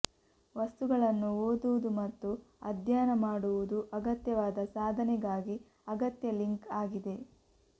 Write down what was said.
ವಸ್ತುಗಳನ್ನು ಓದುವುದು ಮತ್ತು ಅಧ್ಯಯನ ಮಾಡುವುದು ಅಗತ್ಯವಾದ ಸಾಧನೆಗಾಗಿ ಅಗತ್ಯ ಲಿಂಕ್ ಆಗಿದೆ